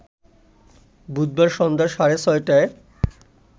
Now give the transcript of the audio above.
বুধবার সন্ধ্যা সাড়ে ছয়টায়